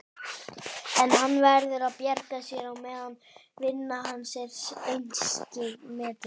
En hann verður að bjarga sér á meðan vinna hans er einskis metin.